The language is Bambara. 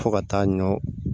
Fo ka taa ɲɔn